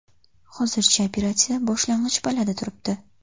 Hozircha operatsiya boshlang‘ich pallada turibdi.